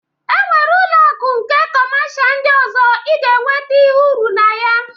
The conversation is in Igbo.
E nwere ụlọ akụ nke kọmasha ndị ọzọ ị ga-enwete ihe uru na ya